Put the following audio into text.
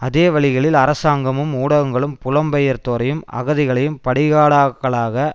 அதே வழிகளில் அரசாங்கமும் ஊடகங்களும் புலம்பெயர்தோரையும் அகதிகளையும் பலிகடாக்களாக